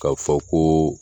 Ka fɔ ko